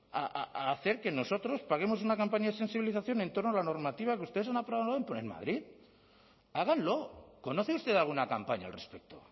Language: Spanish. a hacer que nosotros paguemos una campaña de sensibilización en torno a la normativa que ustedes han aprobado madrid háganlo conoce usted alguna campaña al respecto